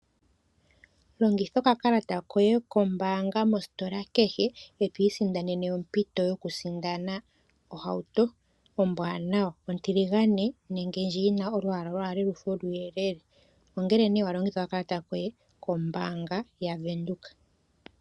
Longitha okakalata koye kombaanga mositola kehe eto isindanene ompito yoku isindanena ohauto ombwaanawa ontiligane nenge ndjoka yina olwaala lufe oluyelele. Ongele nee walongitha okakalata koye kombaanga ya Venduka.